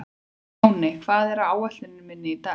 Máney, hvað er á áætluninni minni í dag?